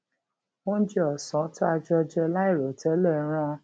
oúnjẹ osan tá a jọ jẹ lairotele rán